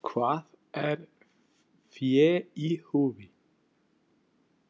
Hvað er „fé í húfi“ ?